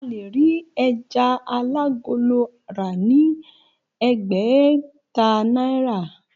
A lè rí ẹja alágolo rà ni ẹ̀ẹ́gbẹ̀ta náírà.